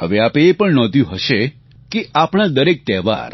હવે આપે એ પણ નોંધ્યું હશે કે આપણા દરેક તહેવાર